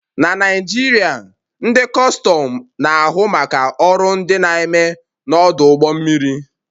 Na Naijiria, ndị Kustum na-ahụ maka ọrụ ndị a na-eme n'ọdụ ụgbọ mmiri